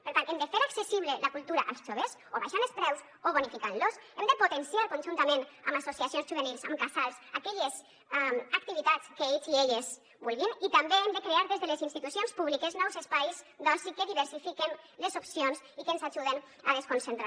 per tant hem de fer accessible la cultura als joves o abaixant els preus o bonificant los hem de potenciar conjuntament amb associacions juvenils amb casals aquelles activitats que ells i elles vulguin i també hem de crear des de les institucions públiques nous espais d’oci que diversifiquen les opcions i que ens ajuden a desconcentrar